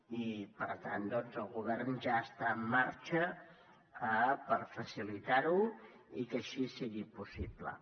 i per tant doncs el govern ja està en marxa per facilitar ho i que així sigui possible